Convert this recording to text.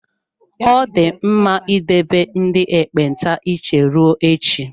Ọ dị mma idebe ndị ekpenta iche ruo echi.